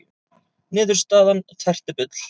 Niðurstaðan tært bull